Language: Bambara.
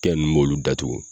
Kɛ ni m'olu datugu